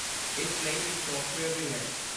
ਇਸ ਲਈ ਇੱਕ ਸੋਫਟਵੇਅਰ ਵੀ ਹੈ